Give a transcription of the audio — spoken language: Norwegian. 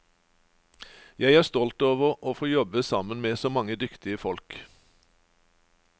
Jeg er stolt over å få jobbe sammen med så mange dyktige folk.